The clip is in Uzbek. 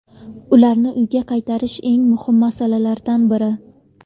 Ularni uyga qaytarish eng muhim masalalardan biri.